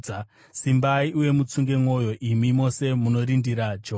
Simbai uye mutsunge mwoyo, imi mose munorindira Jehovha.